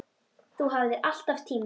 Þú hafðir alltaf tíma.